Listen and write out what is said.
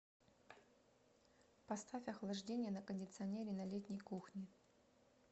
поставь охлаждение на кондиционере на летней кухне